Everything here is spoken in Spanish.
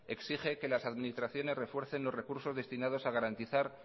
exige que las administraciones refuercen los recursos destinadas a garantizar